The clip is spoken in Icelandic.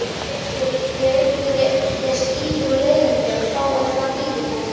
Ef einhver er stífur og leiðinlegur þá er það fýlupokinn.